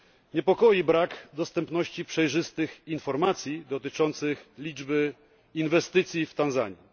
Niepokoi brak dostępności przejrzystych informacji dotyczących liczby inwestycji w Tanzanii.